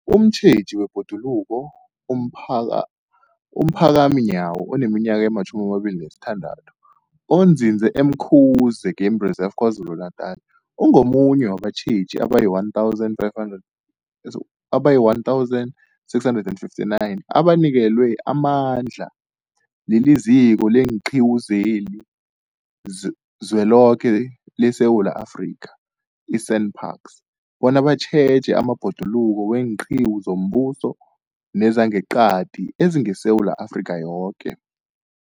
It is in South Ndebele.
Umtjheji wezeBhoduluko umphaka, uPhakamani Nyawo oneminyaka ema-26, onzinze e-Umkhuze Game Reserve KwaZulu-Natala, ungomunye wabatjheji abayi-1 500, abayi-1 659 abanikelwe amandla liZiko leenQiwu zeliZweloke leSewula Afrika, i-SANParks, bona batjheje amabhoduluko weenqiwu zombuso nezangeqadi ezingeSewula Afrika yoke.